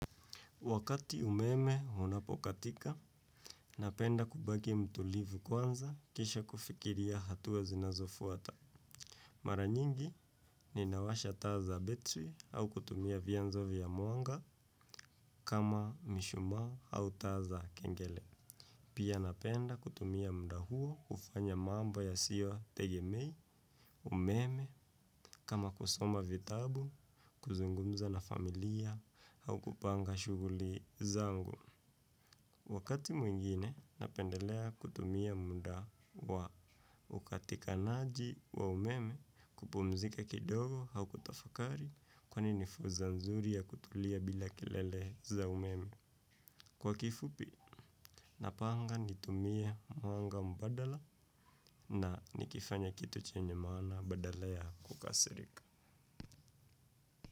Wakati umeme unapokatika, napenda kubaki mtulivu kwanza kisha kufikiria hatua zinazofuata. Mara nyingi ninawasha taa za betri au kutumia vianzo vya mwanga kama mishumaa au taa za kengele. Pia napenda kutumia muuda huo kufanya mambo yasitetegemea, umeme kama kusoma vitabu, kuzungumza na familia au kupanga shughuli zangu. Wakati mwingine napendelea kutumia muda wa ukatikanaji wa umeme kupumzika kidogo au kutafakari kwani ni fursa nzuri ya kutulia bila kelele za umeme. Kwa kifupi napanga nitumie mwanga mbadala na nikifanya kitu chenye maana badala ya kukasirika.